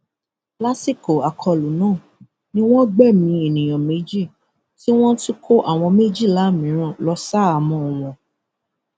lásìkò àkọlù náà ni wọn gbẹmí ènìyàn méjì tí wọn tún kó àwọn méjìlá mìíràn lọ ṣaháámọ wọn